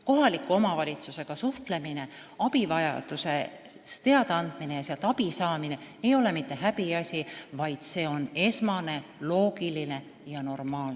Kohaliku omavalitsusega suhtlemine, abivajadusest teadaandmine ja sealt abi saamine ei ole mitte häbiasi, vaid on esmane, loogiline ja normaalne.